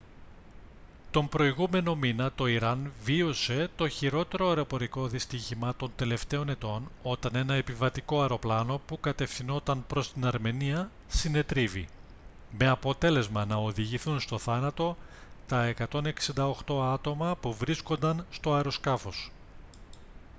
τον προηγούμενο μήνα το ιράν βίωσε το χειρότερο αεροπορικό δυστύχημα των τελευταίων ετών όταν ένα επιβατικό αεροπλάνο που κατευθυνόταν προς την αρμενία συνετρίβη με αποτέλεσμα να οδηγηθούν στον θάνατο τα 168 άτομα που βρίσκονταν στο αεροσκάφος